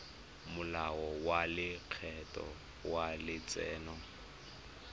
molao wa lekgetho wa letseno